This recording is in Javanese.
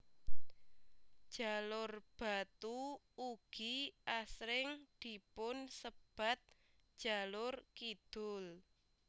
Jalur Batu ugi asring dipun sebat jalur kidul